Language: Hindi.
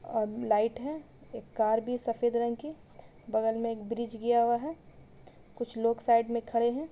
लाइट है एक कार भी सफेद रंग की बगल में एक ब्रिज गया हुआ है कुछ लोग साइड में खड़े हैं|